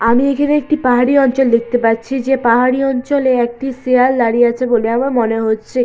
আমি এখানে একটি পাহাড়ি অঞ্চল দেখতে পাচ্ছি যে পাহাড়ি অঞ্চলে একটি শেয়াল দাঁড়িয়ে আছে বলে আমার মনে হচ্ছে।